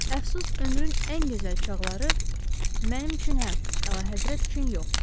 Əfsus, ömrün ən gözəl çağları mənim üçün hə, əlahəzrət üçün yox.